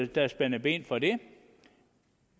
der spændt ben for det